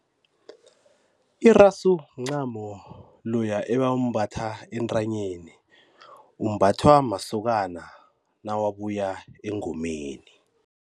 Irasu mncamo loya ebawumbatha entanyeni, umbathwa masokana nawabuya engomeni.